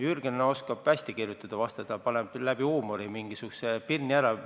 Jürgen oskab hästi vastu kirjutada, ta paneb läbi huumori mingisuguse pirni ära.